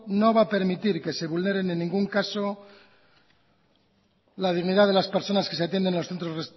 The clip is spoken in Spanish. no va a permitir que se vulneren en cualquier caso la dignidad de las personas que se atienden